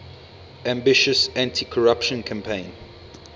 ambitious anticorruption campaign